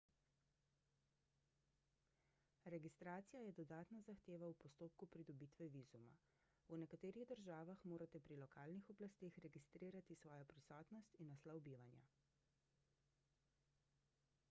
registracija je dodatna zahteva v postopku pridobitve vizuma v nekaterih državah morate pri lokalnih oblasteh registrirati svojo prisotnost in naslov bivanja